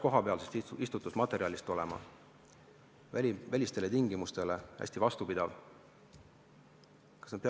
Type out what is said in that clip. Kas ta peaks pärinema kohapealsest istutusmaterjalist, väliste tingimuste suhtes hästi vastupidav olema?